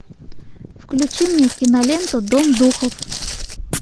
включи мне киноленту дом духов